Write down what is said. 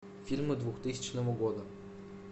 фильмы двухтысячного года